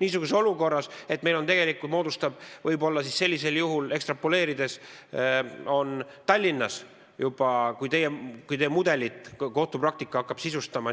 Niisuguses olukorras, et kui kohtupraktika hakkab teie mudelit